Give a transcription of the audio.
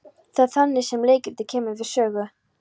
Það er þannig sem leikritið kemur við sögu.